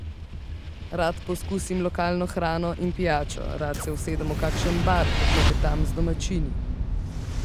Rad poskusim lokalno hrano in pijačo, rad se usedem v kakšen bar, poklepetam z domačini.